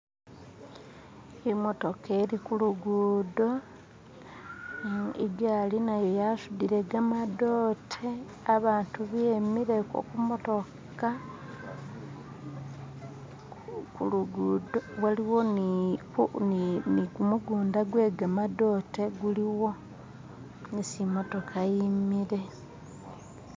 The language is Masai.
imotoka ili kulugudo igali nayo yasudile gamadote abatu bemile kumotoka kulugudo waliwo ni gumugunda gwegamadote guliwo isi imotoka yimile